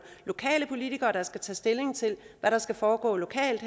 politikere der henholdsvis skal tage stilling til hvad der skal foregå lokalt